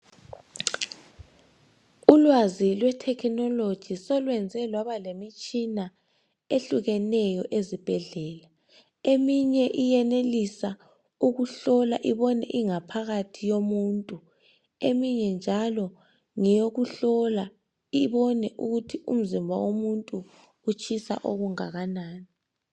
Ulwazi lwe thekhinoloji solwenze lwaba lemitshina ehlukeneyo ezibhedlela. Eminye iyenelisa ukuhlola ibone ingaphakathi yomuntu eminye njalo ngeyokuhlola ibone ukuthi umzimba womuntu utshisa okungaka nani.